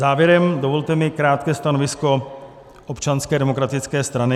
Závěrem, dovolte mi krátké stanovisko Občanské demokratické strany.